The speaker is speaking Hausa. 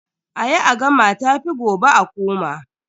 A yi a gama tafi gobe a koma.